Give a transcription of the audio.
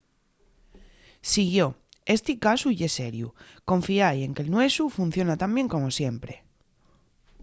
siguió: esti casu ye seriu. confiái en que'l nuesu funciona tan bien como siempre